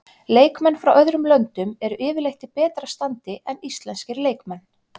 Leikmenn frá öðrum löndum eru yfirleitt í betra standi en íslenskir leikmenn.